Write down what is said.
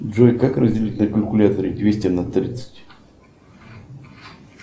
джой как разделить на калькуляторе двести на тридцать